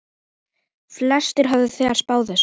Flestir höfðu bara spáð þessu.